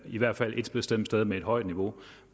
i hvert fald ét bestemt sted med et højt niveau